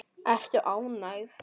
Ertu ánægð?